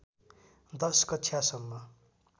१० कक्षासम्म